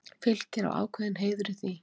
Fylkir á ákveðinn heiður í því.